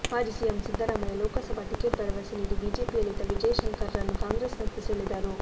ಮಾಜಿ CM Siddaramaiah Lok Sabha ticket ಭರವಸೆ ನೀಡಿ ಬಿಜೆಪಿಯಲ್ಲಿದ್ದ ವಿಜಯಶಂಕರ್ ರನ್ನು ಕಾಂಗ್ರೆಸ್ನತ್ತ ಸೆಳೆದರು